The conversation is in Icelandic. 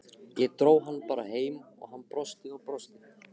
Ég dró hann bara heim og hann brosti og brosti.